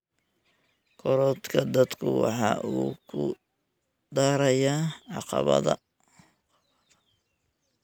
Korodhka dadku waxa uu ku darayaa caqabada.